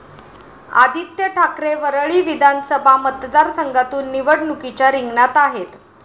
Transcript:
आदित्य ठाकरे वरळी विधानसभा मतदारसंघातून निवडणुकीच्या रिंगणात आहेत.